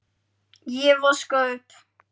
Ég vaska upp.